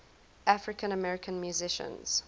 african american musicians